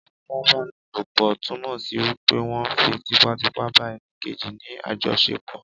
ìfipá-bá-ni-lò-pò túnmọ̀ sí wípé wón fi típà típà ba ẹni Kejì ni àjọ ṣẹpọ.